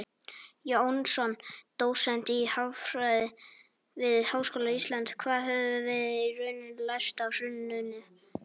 Jónsson, dósent í hagfræði við Háskóla Íslands: Hvað höfum við í rauninni lært af hruninu?